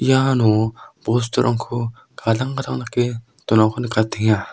iano bosturangko gadang gadang dake donako nikatenga.